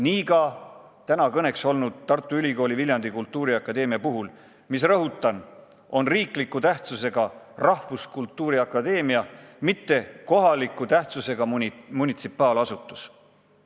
Nii ka täna kõneks olnud Tartu Ülikooli Viljandi Kultuuriakadeemia puhul, mis, rõhutan, on riikliku tähtsusega rahvuskultuuri akadeemia, mitte kohaliku tähtsusega munitsipaalasutus.